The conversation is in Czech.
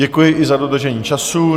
Děkuji i za dodržení času.